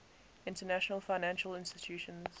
international financial institutions